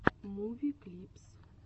муви клипс